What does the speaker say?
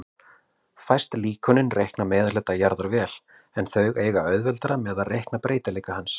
Fæst líkönin reikna meðalhita jarðar vel, en þau eiga auðveldara með að reikna breytileika hans.